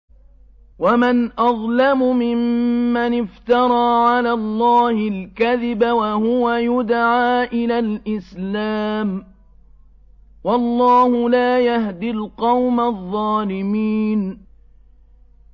وَمَنْ أَظْلَمُ مِمَّنِ افْتَرَىٰ عَلَى اللَّهِ الْكَذِبَ وَهُوَ يُدْعَىٰ إِلَى الْإِسْلَامِ ۚ وَاللَّهُ لَا يَهْدِي الْقَوْمَ الظَّالِمِينَ